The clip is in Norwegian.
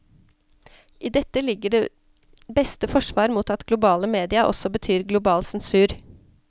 I dette ligger det beste forsvar mot at globale media også betyr global sensur.